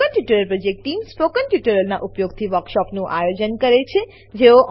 spoken tutorial project team spoken ટ્યુટોરીયલોનાં ઉપયોગથી વર્કશોપોનું આયોજન કરે છે